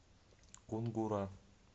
кунгура